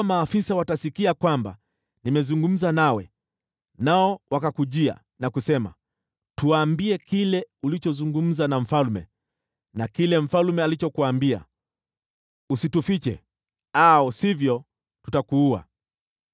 Maafisa wakisikia kwamba nimezungumza nawe, nao wakakujia na kusema, ‘Tuambie kile ulichozungumza na mfalme na kile mfalme alichokuambia, usitufiche au sivyo tutakuua,’